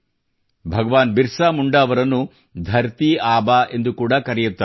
ಭಗವಾನ್ ಬಿರಸಾ ಮುಂಡಾ ಅವರನ್ನು ಧರತೀಆಬಾ ಎಂದು ಕೂಡಾ ಕರೆಯುತ್ತಾರೆ